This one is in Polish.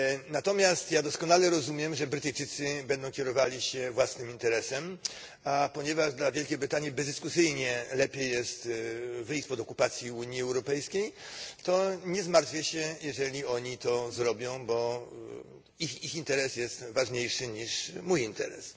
Natomiast doskonale rozumiem, że Brytyjczycy będą kierowali się własnym interesem, a ponieważ dla Wielkiej Brytanii bezdyskusyjnie lepiej jest wyjść spod okupacji Unii Europejskiej, to nie zmartwię się, jeżeli oni to zrobią, bo ich interes jest ważniejszy niż mój interes.